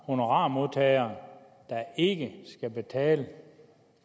honorarmodtagere der ikke skal betale